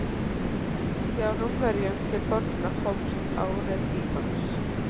Hjá Rómverjum til forna hófst árið í mars.